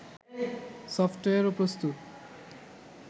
software প্রস্তুত